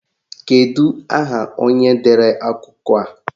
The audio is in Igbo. Kedụ aha onye dere akụkọ a?